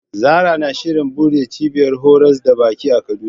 Zarah na shirin buɗe cibiyar horas da baki a Kaduna.